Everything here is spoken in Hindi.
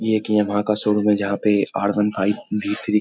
ये एक यामाहा का शोरूम है जहाँ पे R one five V three --